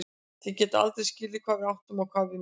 Þið getið aldrei skilið hvað við áttum og hvað við misstum.